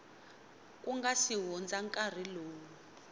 nga si hundza nkarhi lowu